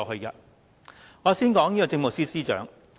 我先談談政務司司長。